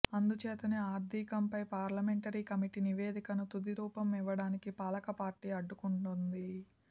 అందుచేతనే ఆర్థికంపై parliamentary committee నివేదికకు తుదిరూపం యివ్వడాన్ని పాలక పార్టీ అడ్డుకొంటున్నది